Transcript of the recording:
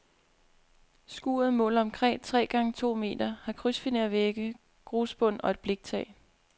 Skuret måler omkring tre gange to meter, har krydsfinervægge, grusbund og et bliktag.